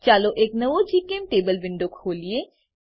ચાલો એક નવો જીચેમ્ટેબલ વિન્ડો ખોલીએ